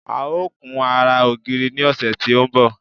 A ó kun ara ògiri ní ọ̀sẹ̀ tí ó ń bọ̀